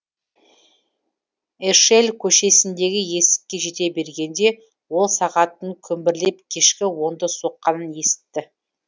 эшель көшесіндегі есікке жете бергенде ол сағаттың күмбірлеп кешкі онды соққанын есітті